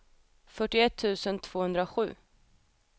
fyrtioett tusen tvåhundrasju